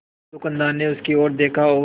दुकानदार ने उसकी ओर देखा और